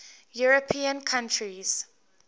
european countries